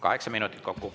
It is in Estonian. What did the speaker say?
Kaheksa minutit kokku.